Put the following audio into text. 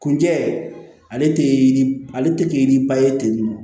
Kunjɛ ale tɛ ale tɛ ni ba ye ten tɔ